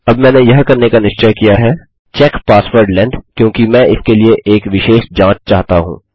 अब मैंने यह करने का निश्चय किया है चेक पासवर्ड लेंग्थ क्योंकि मैं इसके लिए एक विशेष जाँच चाहता हूँ